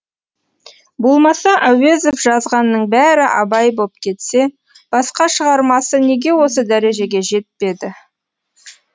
болмаса әуезов жазғанның бәрі абай боп кетсе басқа шығармасы неге осы дәрежеге жетпеді